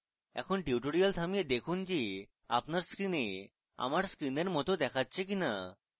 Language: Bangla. এখন tutorial থামিয়ে দেখুন যে আপনার screen আমার screen মত দেখাচ্ছে কিনা